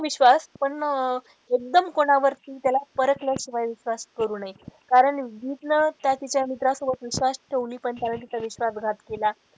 विश्वास पण एकदम कोणावर परखल्याशिवाय विश्वास करू नये. कारण गीत ने त्या तिच्या मित्रांसोबत विश्वास ठेवली पण त्याने तिचा विश्वास घात केला.